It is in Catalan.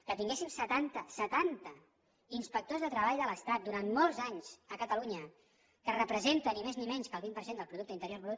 que tinguéssim setanta setanta inspectors de treball de l’estat durant molts anys a catalunya que representa ni més ni menys que el vint per cent del producte interior brut